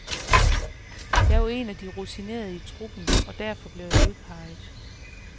Jeg er jo en af de rutinerede i truppen, og derfor blev jeg udpeget.